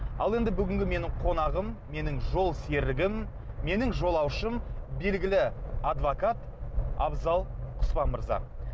ал енді бүгінгі менің қонағым менің жолсерігім менің жолаушым белгілі адвокат абзал құспан мырза